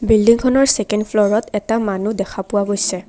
বিল্ডিংখনৰ second ফ্ল'ৰত এটা মানুহ দেখা পোৱা গৈছে।